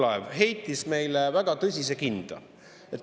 Härra Võrklaev heitis meile väga tõsiselt kinda.